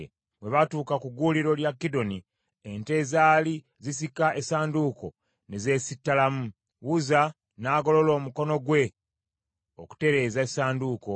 Bwe baatuuka ku gguuliro lya Kidoni, ente ezaali zisika essanduuko ne zeesittalamu, Uzza n’agolola omukono gwe okutereeza essanduuko.